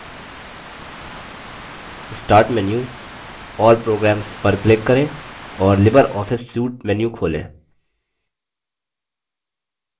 start menu>> all programs पर click करें और libreoffice suite menu खोलें